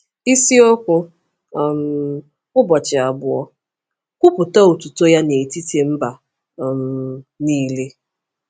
Isiokwu um Ụbọchị Abụọ: “Kwupụta Otuto Ya n’etiti Mba um Nile”